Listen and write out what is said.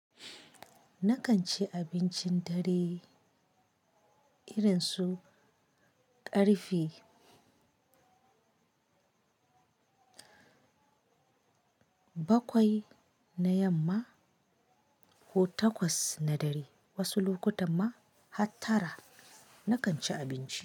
Nakan ci abincin dare irin su ƙarfe bakwai na yamma ko takwas na dare, wasu lokutan ma har tara nakan ci abinci.